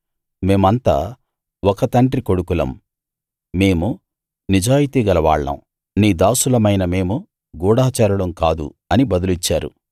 మేమంతా ఒక తండ్రి కొడుకులం మేము నిజాయితీగల వాళ్ళం నీ దాసులమైన మేము గూఢచారులం కాదు అని బదులిచ్చారు